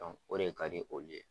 o de ka di olu ye.